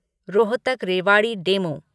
Rohtak Rewari DEMU